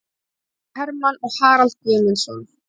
Hermann og Harald Guðmundsson